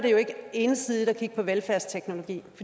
ensidigt at kigge på velfærdsteknologi